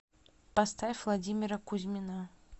поставь владимира кузьмина